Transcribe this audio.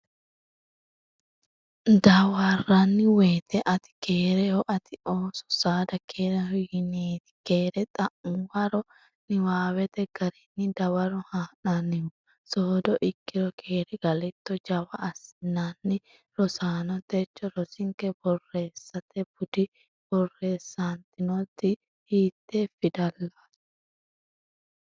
Dawarranni woyte, ”Ati keereho?, Ate ooso, saada keereho,”yineeti. keere xa’muwara niwaawete garinni dawaro haa’nannihu soodo ikkiro keere galitto? Jawa assineenna Rosaano techo rosinke borreessate budi borreessantinoti hiitte fidallaati?